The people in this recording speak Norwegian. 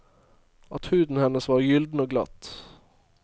At huden hennes var gyllen og glatt.